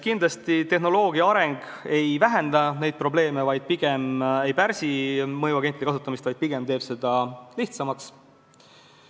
Kindlasti tehnoloogia areng ei vähenda neid probleeme, ei pärsi mõjuagentide kasutamist, pigem teeb seda lihtsamaks.